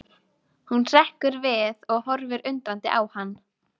Hún hrekkur við og horfir undrandi á hann.